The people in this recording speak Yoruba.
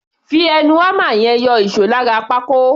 Fi ẹnu hámà yẹn yọ ìṣó lára pákó.